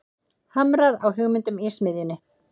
Hamrað á hugmyndum í smiðjunni